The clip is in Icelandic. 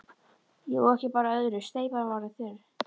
Jú, ekki bar á öðru, steypan var orðin þurr.